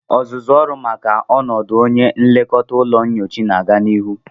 Ọzụzụ ọrụ maka ọnọdụ onye nlekọta ụlọ nyocha na-aga n'ihu